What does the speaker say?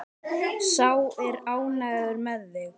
Sá er ánægður með þig!